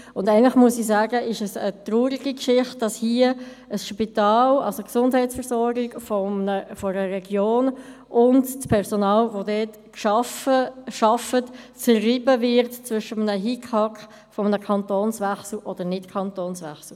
Eigentlich ist es eine traurige Geschichte, dass hier die Gesundheitsversorgung einer Region und das Personal, das dort arbeitet, zerrieben werden zwischen einem Hickhack eines allfälligen Kantonswechsels.